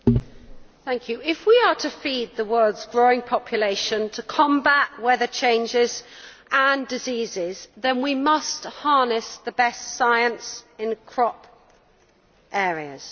Madam President, if we are to feed the world's growing population and combat weather changes and diseases, then we must harness the best science in crop areas.